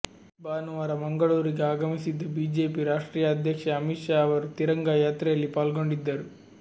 ಭಾನುವಾರ ಮಂಗಳೂರಿಗೆ ಆಗಮಿಸಿದ್ದ ಬಿಜೆಪಿ ರಾಷ್ಟ್ರೀಯ ಅಧ್ಯಕ್ಷ ಅಮಿತ್ ಶಾ ಅವರು ತಿರಂಗಾ ಯಾತ್ರೆಯಲ್ಲಿ ಪಾಲ್ಗೊಂಡಿದ್ದರು